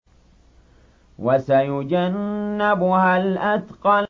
وَسَيُجَنَّبُهَا الْأَتْقَى